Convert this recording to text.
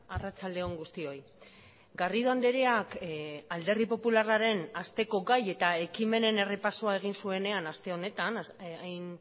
arratsalde on guztioi garrido andreak alderdi popularraren hasteko gai eta ekimenen errepasoa egin zuenean aste honetan hain